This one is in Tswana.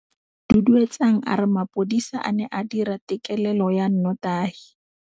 Duduetsang a re mapodisa a ne a dira têkêlêlô ya nnotagi.